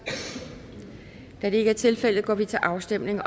da det ikke er tilfældet går vi til afstemning